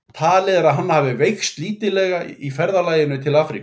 Talið er að hann hafi veikst lítillega í ferðalaginu til Afríku.